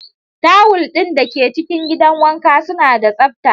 Tawul ɗin da ke cikin gidan wanka suna da tsabta.